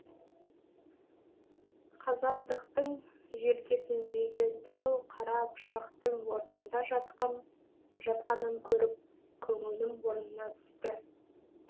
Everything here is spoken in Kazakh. қазандықтың желкесіндегі дәу қара пышақтың орнында жатқанын көріп көңілім орнына түсті